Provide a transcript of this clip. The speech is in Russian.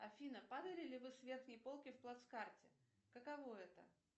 афина падали ли вы с верхней полки в плацкарте каково это